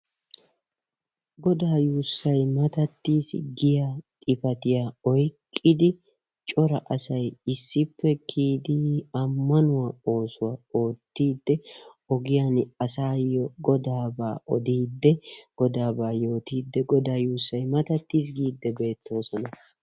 Godaa yuusay matattiis giya xifatiya oyqqidi cora assay issippe kiyidi amanuwa oosuwaa oottide ogiyan asaayo godaaba odiide godaabaa yootide godaa yuussay matatiis giide beettoosona.